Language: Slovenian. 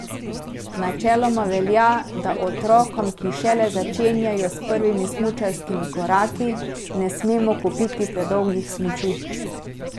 Načeloma velja, da otrokom, ki šele začenjajo s prvimi smučarskimi koraki, ne smemo kupiti predolgih smuči.